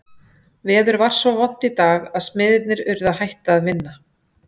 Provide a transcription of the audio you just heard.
Veður var svo vont í dag að smiðirnir urðu að hætta að vinna.